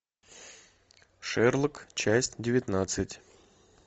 шерлок часть девятнадцать